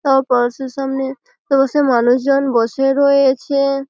তাও -এর সামনে তো সে মানুষজন বসে রয়েছে-এ ।